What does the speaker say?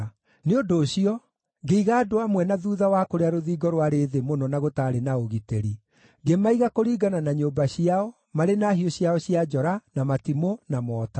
Nĩ ũndũ ũcio ngĩiga andũ amwe na thuutha wa kũrĩa rũthingo rwarĩ thĩ mũno na gũtaarĩ na ũgitĩri; ngĩmaiga kũringana na nyũmba ciao marĩ na hiũ ciao cia njora, na matimũ, na mota.